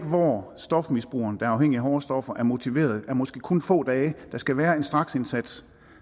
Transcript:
stofmisbrugeren der er afhængig af hårde stoffer er motiveret er måske kun få dage der skal være en straksindsats